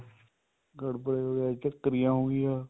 ਗੜਵੜੇ ਝੱਕਰੀਆਂ ਹੋਗੀਆਂ